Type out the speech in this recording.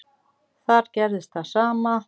Þar gerðist það sama.